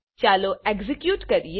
ચાલો એક્ઝેક્યુટ કરીએ